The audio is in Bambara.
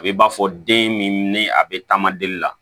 A bɛ b'a fɔ den min ni a bɛ taama deli la